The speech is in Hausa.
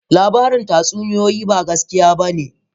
labaran tatsuniyoyi ba gaskiya ba ne